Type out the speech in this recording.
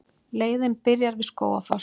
Leiðin byrjar við Skógafoss.